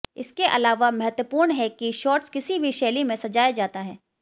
इसके अलावा महत्वपूर्ण है कि शॉर्ट्स किसी भी शैली में सजाया जाता है